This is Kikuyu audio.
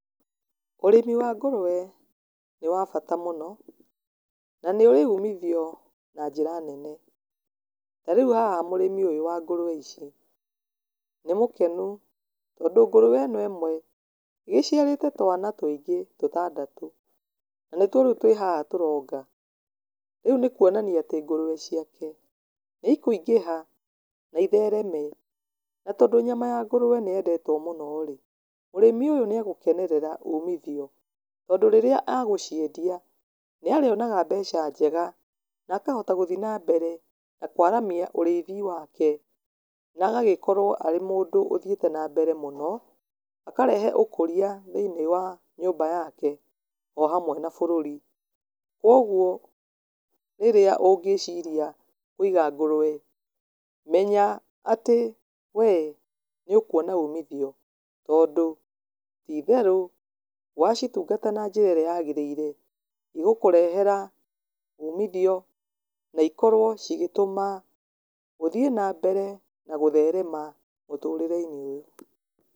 Ũrĩmi wa ngũrũwe nĩ wa bata mũno, na nĩ ũrĩ umithio na njĩra nene. Ta rĩu haha mũrĩmi ũyũ wa ngũrũwe ici, nĩ mũkenu, tondũ ngũrũwe ĩno ĩmwe ĩciaírĩte twana tũingĩ, tũtandatũ. Na nĩtuo twĩ haha tũronga, rĩu nĩkũonania atĩ ngũrũwe ciake nĩ ikũingĩha na ithereme. Na tondũ nyama ya ngũrũwe nĩyendetwo mũno-rĩ, mũrĩmi ũyũ nĩ agũkenereraa umithio, tondũ rĩrĩa agũciendia nĩ arĩonaga mbeca njega, na akahota gũthiĩ na mbere na kwaramia ũrĩithi wake. Na agĩkorwo arĩ mũndũ ũthiĩte na mbere mũno akarehe ũkũria thĩinĩ wa nyũmba yake o hamwe na bũrũri. Koguo rĩrĩa ũngĩĩciria kũiga ngũrũwe, menya atĩ we nĩũkuona úmithio tondũ, ti itherũ, wacitungata na njĩra ĩrĩa yagĩrĩire, cigũkũrehera umithio na ikorwo cigĩtũma ũthiĩ na mbere na gũtherema mũtũrĩre-inĩ ũyũ.